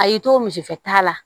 A y'i to misi fɛ ta la